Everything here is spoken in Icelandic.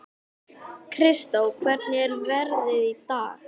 Kristó, hvernig er veðrið í dag?